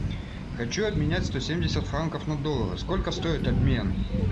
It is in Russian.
хочу обменять сто семьдесят франков на доллары сколько стоит обмен